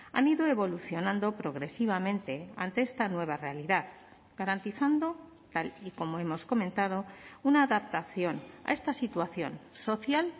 han ido evolucionando progresivamente ante esta nueva realidad garantizando tal y como hemos comentado una adaptación a esta situación social